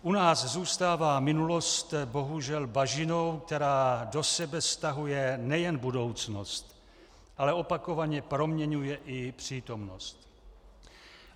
U nás zůstává minulost bohužel bažinou, která do sebe stahuje nejen budoucnost, ale opakovaně proměňuje i přítomnost.